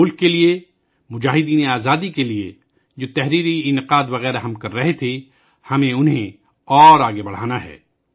ملک کے لئے، مجاہدینِ آزادی کے لئے، جو مضمون نویسی وغیرہ ہم کر رہے تھے ، ہمیں انہیں اور آگے بڑھانا ہے